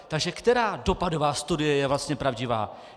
Takže která dopadová studie je vlastně pravdivá?